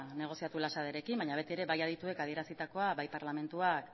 negoziatu baina beti ere bai adituek adierazitakoa bai parlamentuak